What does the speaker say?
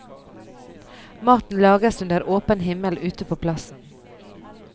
Maten lages under åpen himmel ute på plassen.